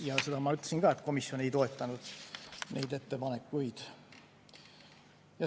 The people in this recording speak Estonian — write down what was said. Ja seda ma juba ütlesin, et komisjon ei toetanud neid ettepanekuid.